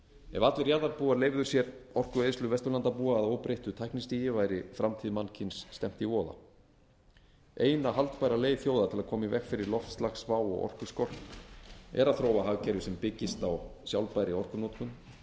ef allir jarðarbúar leyfðu sér orkueyðslu vesturlandabúa að óbreyttu tæknistigi væri framtíð mannkyns stefnt í voða eina haldbæra leið þjóða til að koma í veg fyrir loftslagsvá og orkuskort er að þróa hagkerfi sem byggist á sjálfbærri orkunotkun